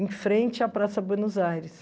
em frente à Praça Buenos Aires.